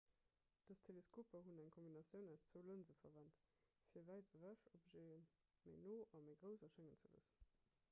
dës teleskoper hunn eng kombinatioun aus zwou lënse verwent fir wäit ewech objete méi no a méi grouss erschéngen ze loossen